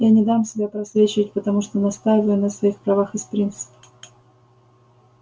я не дам себя просвечивать потому что настаиваю на своих правах из принципа